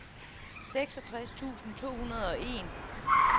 seksogtres tusind to hundrede og en